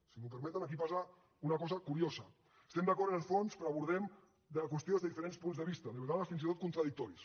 si m’ho permeten aquí passa una cosa curiosa estem d’acord amb el fons però abordem la qüestió des de diferents punts de vista de vegades fins i tot contradictoris